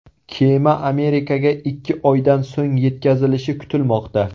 Kema Amerikaga ikki oydan so‘ng yetkazilishi kutilmoqda.